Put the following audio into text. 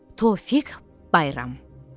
Tofiq Bayram.